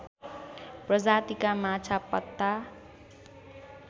प्रजातिका माछा पत्ता